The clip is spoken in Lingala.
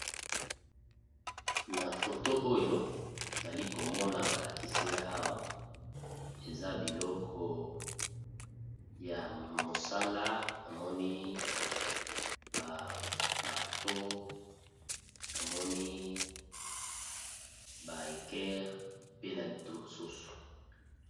Na foto oyo nali komona balakisinga awa eza biloko ya mosala na moni ba marteau, na moni ba hequer pe na ba outil mosusu.